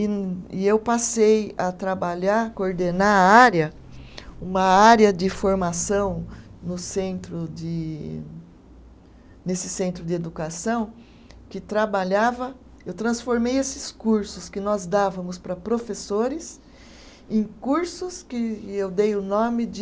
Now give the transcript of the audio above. E e eu passei a trabalhar, coordenar a área, uma área de formação no centro de, nesse centro de educação, que trabalhava, eu transformei esses cursos que nós dávamos para professores em cursos que eu dei o nome de